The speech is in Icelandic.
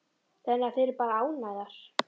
Þannig að þið eruð bara ánægðar?